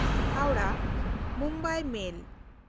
ᱦᱟᱣᱲᱟᱦ–ᱢᱩᱢᱵᱟᱭ ᱢᱮᱞ